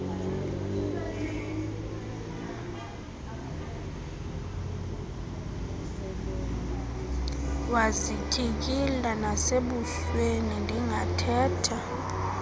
wazityikila nasebusweni ndingathetha